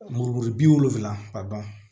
Muru kuru bi wolonwula ka ban